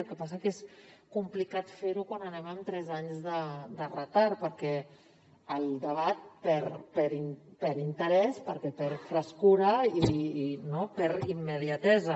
el que passa que és complicat fer ho quan anem amb tres anys de retard perquè el debat perd interès perquè perd frescor i perd immediatesa